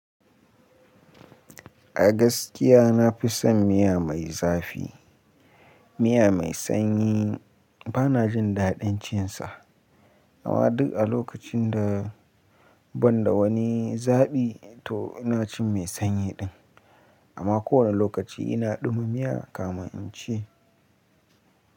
A gaskiya na fi son miya mai zafi. Miya mai sanyi, bana jin daɗin cin sa. Amma duk a lokacin da, ban da wani zaɓi to ina cin mai sanyi din. Amma kowane lokaci ina ɗuma miya, kafin in ci.